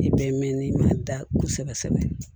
I bɛ mɛn n'i ma da kosɛbɛ kosɛbɛ